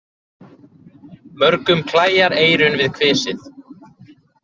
Mörgum klæjar eyrun við kvisið.